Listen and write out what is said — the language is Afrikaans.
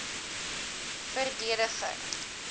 verdediging